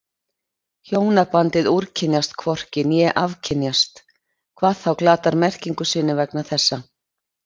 Hjónabandið úrkynjast hvorki né afkynjast, hvað þá glatar merkingu sinni vegna þessa.